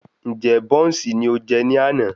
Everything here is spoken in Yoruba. Ǹjẹ́ bọ́ùnsì ni o jẹ ní àná?